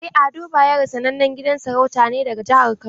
En Ado bayero sanannen gidan sarauta ne daga jihar kano.